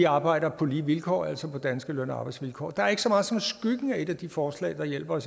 arbejder på lige vilkår altså på danske løn og arbejdsvilkår der er ikke så meget som skyggen af et af de forslag der hjælper